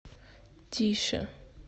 тише